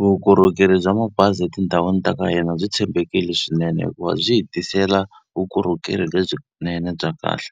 Vukorhokeri bya mabazi etindhawini ta ka hina byi tshembekile swinene hikuva byi hi tisela vukorhokeri lebyinene bya kahle.